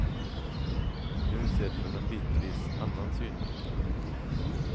Nu sedd från en bitvis annan synvinkel.